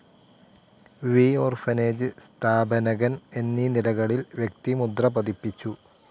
V orphanage സ്ഥാപനകൻ എന്നീ നിലകളിൽ വ്യക്തിമുദ്രപതിപ്പിച്ചു.